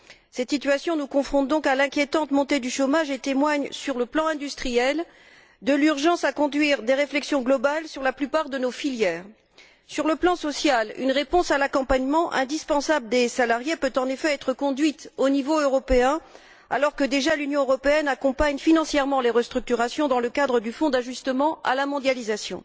Cette situation nous confronte donc à l'inquiétante montée du chômage et témoigne, sur le plan industriel, de l'urgence de conduire des réflexions globales sur la plupart de nos filières. Sur le plan social, une réponse à la nécessité d'accompagner les salariés peut en effet être apportée au niveau européen, alors que, déjà, l'Union européenne accompagne financièrement les restructurations dans le cadre du Fonds d'ajustement à la mondialisation.